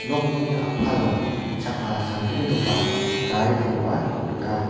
nokni a·palo chakka samgnigipa garikoba nika.